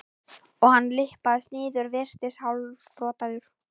og hann lyppast niður, virðist hálfrotaður.